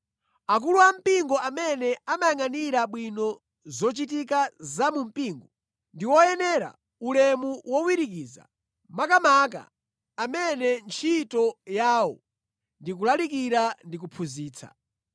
Akulu ampingo amene amayangʼanira bwino zochitika za mu mpingo, ndi oyenera ulemu wowirikiza, makamaka amene ntchito yawo ndi kulalikira ndi kuphunzitsa.